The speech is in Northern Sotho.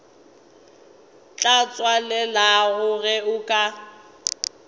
tla tswalelega ge o ka